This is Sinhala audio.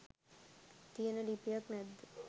තියෙන ලිපියක් නැද්ද?